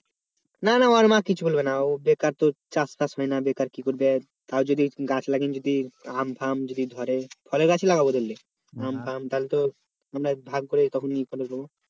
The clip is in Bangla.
না না ওর মা কিছু বলবে না ও বেকার তো চাষ টাস নেই না বেকার কি করে তাও যদি গাছ লাগিয়ে যদি আম ফাম যদি ধরে ফলের গাছ ই লাগাব ধরলি লাগাবো তাহলে ভাগ করে তখন ইয়ে করে নেব